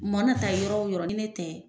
U mɔna ta yɔrɔ o yɔrɔ ni ne tɛ